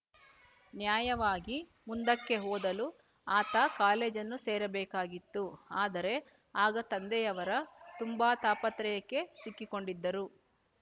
ನ್ಯಾಯವಾಗಿ ಮುಂದಕ್ಕೆ ಓದಲು ಆತ ಕಾಲೇಜನ್ನು ಸೇರಬೇಕಾಗಿತ್ತು ಆದರೆ ಆಗ ತಂದೆಯವರ ತುಂಬಾ ತಾಪತ್ರಯಕ್ಕೆ ಸಿಕ್ಕಿಕೊಂಡಿದ್ದರು